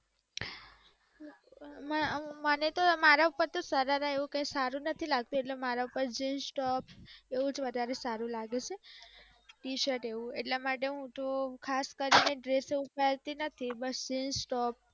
ના મને તો મારા ઉપર તો સરારા એવુ કઈ સારુ નથી લાગતુ એટલે મારા પર જીન્સ ટોપ એજ વધારે સારુ લાગે છે ટી-સર્ટ એવુ એટલે હુ તો ખાસ કરીને ડ્રેસ ને એવુ પહેરતી નથી બટ જીન્સ ટોપ